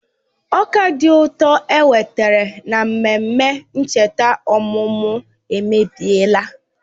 Ọka dị ụtọ enwetara na mmemme ncheta ọmụmụ emebiela